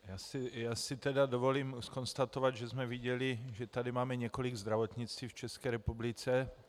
Já si tedy dovolím konstatovat, že jsme viděli, že tady máme několik zdravotnictví v České republice.